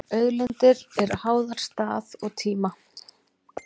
Auðlindir eru háðar stað og tíma.